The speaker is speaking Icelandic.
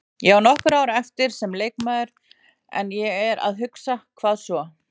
Ég á nokkur ár eftir sem leikmaður en ég er að hugsa, hvað svo?